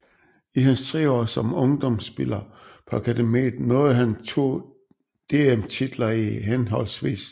I hans 3 år som ungdomspiller på akademiet nåede han 2 DM titler i hhv